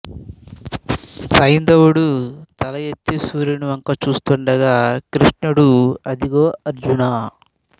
సైంధవుడు తల ఎత్తి సూర్యుని వంక చూస్తుండగా కృష్ణుడు అదుగో అర్జునా